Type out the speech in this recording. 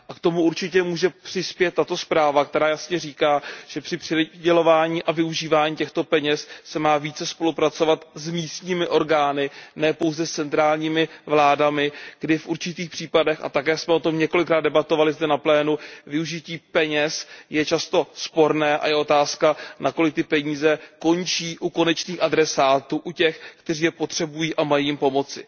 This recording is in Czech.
K tomu určitě může přispět tato zpráva, která jasně říká, že při přidělování a využívání těchto peněz se má více spolupracovat s místními orgány, ne pouze s centrálními vládami, protože v určitých případech, a také jsme o tom několikrát debatovali zde na plénu, využití peněz je často sporné a je otázka, nakolik ty peníze končí u konečných adresátů, u těch, kteří je potřebují a kterým mají pomoci.